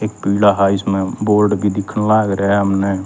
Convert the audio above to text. एक पीला हा इसम्ह बोर्ड भी दिखण लाग रया ह हमन्ह।